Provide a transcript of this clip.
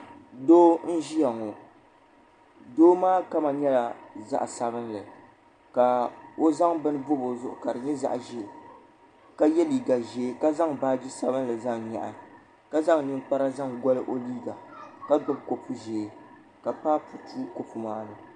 Doo n ʒia ŋɔ doo maa kama nyɛla zaɣa sabinli ka o zaŋ bini bobi o zuɣu ka di nyɛ zaɣa ʒee ka ye liiga ʒee ka zaŋ baaji sabinli zaŋ nyaɣi ka zaŋ ninkpara zaŋ goli o liiga ka g gbibi kopu ʒee ka papu tu kopu maani.